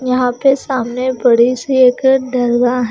यहां पे सामने बड़ी सी एक हैं।